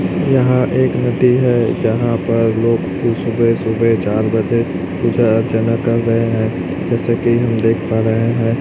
यहां एक मूर्ति है जहां पर लोग सुबह सुबह चार बजे पूजा अर्चना कर रहे हैं जैसे कि हम देख पा रहे है।